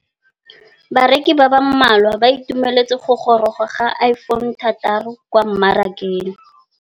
Bareki ba ba malwa ba ituemeletse go gôrôga ga Iphone6 kwa mmarakeng.